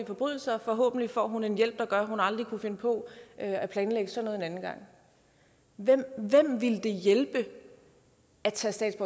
forbrydelser og forhåbentlig får hun en hjælp der gør at hun aldrig kunne finde på at planlægge sådan noget en anden gang hvem ville det hjælpe at tage